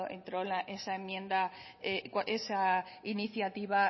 entró esa iniciativa